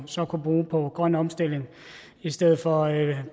så kunne bruge på grøn omstilling i stedet for